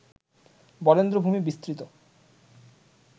বরেন্দ্রভূমি বিস্তৃত